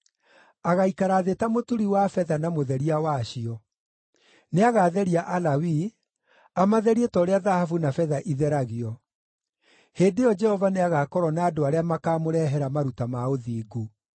Agaikara thĩ ta mũturi wa betha na mũtheria wacio; nĩagatheria Alawii, amatherie ta ũrĩa thahabu na betha itheragio. Hĩndĩ ĩyo Jehova nĩagakorwo na andũ arĩa makamũrehere maruta ma ũthingu;